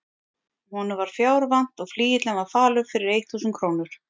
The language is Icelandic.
Honum var fjár vant og flygillinn var falur fyrir eitt þúsund krónur.